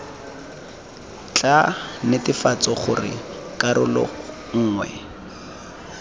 tla netefatsang gore karolo nngwe